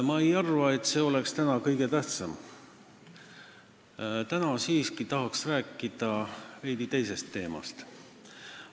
Ma ei arva, et see oleks täna kõige tähtsam, täna tahaks siiski rääkida veidi teisest teemast.